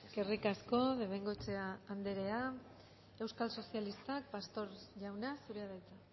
eskerrik asko de bengoechea andrea euskal sozialistak pastor jauna zurea da hitza